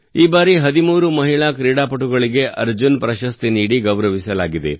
ಈ ಬಾರಿ 13 ಮಹಿಳಾ ಕ್ರೀಡಾಪಟುಗಳಿಗೆ ಅರ್ಜುನ್ ಪ್ರಶಸ್ತಿ ನೀಡಿ ಗೌರವಿಸಲಾಗಿದೆ